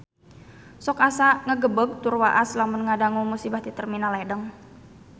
Sok asa ngagebeg tur waas lamun ngadangu musibah di Terminal Ledeng